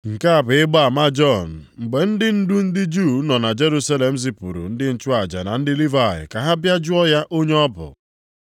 Nke a bụ ịgba ama Jọn mgbe ndị ndu ndị Juu nọ na Jerusalem zipụrụ ndị nchụaja na ndị Livayị ka ha bịa jụọ ya onye ọ bụ?